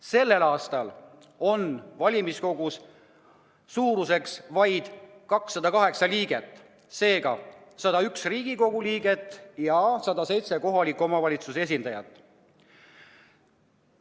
Sellel aastal on valimiskogu suurus vaid 208 liiget: 101 Riigikogu liiget ja 107 kohaliku omavalitsuse esindajat.